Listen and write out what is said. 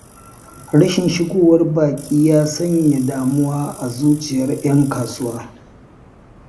Rashin shigowar baƙi ya sanya damuwa a zuciyar 'yan kasuwa.